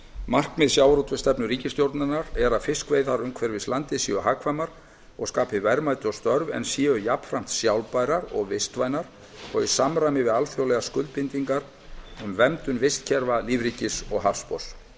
markmið sjávarútvegsstefnu ríkisstjórnarinnar er að fiskveiðar umhverfis landið séu hagkvæmar og skapi verðmæti og störf en séu jafnframt sjálfbærar og vistvænar og í samræmi við alþjóðlegar skuldbindingar um verndun vistkerfa lífríkis og hafsbotns